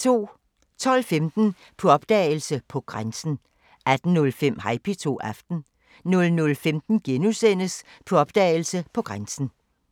12:15: På opdagelse – På grænsen 18:05: Hej P2 – Aften 00:15: På opdagelse – På grænsen *